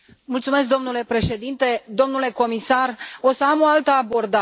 Domnule președinte, domnule comisar, o să am o altă abordare.